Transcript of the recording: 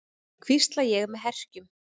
hvísla ég með herkjum.